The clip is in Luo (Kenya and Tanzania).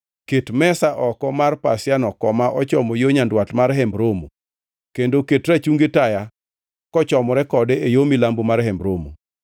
Ket mesa oko mar pasiano koma ochomo yo nyandwat mar Hemb Romo kendo ket rachungi taya kochomore kode e yo milambo mar Hemb Romo.